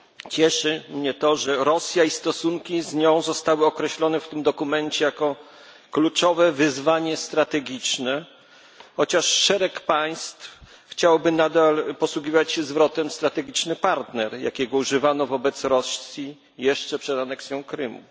Cieszy mnie to, że Rosja i stosunki z nią zostały określone w tym dokumencie jako kluczowe wyzwanie strategiczne, chociaż szereg państw chciałoby nadal posługiwać się zwrotem strategiczny partner, jakiego używano wobec Rosji jeszcze przed aneksją Krymu.